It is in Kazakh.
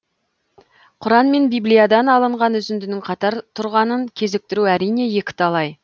құран мен библиядан алынған үзіндінің қатар тұрғанын кезіктіру әрине екіталай